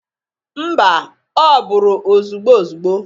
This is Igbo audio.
Mba! Ọ bụrọ ozugbo ozugbo.